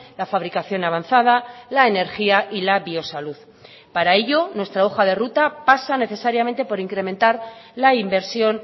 la fabricación avanzada la energía y la biosalud para ello nuestra hoja de ruta pasa necesariamente por incrementar la inversión